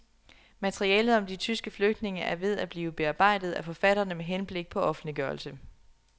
Materialet om de tyske flygtninge er ved at blive bearbejdet af forfatterne med henblik på offentliggørelse.